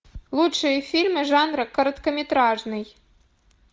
лучшие фильмы жанра короткометражный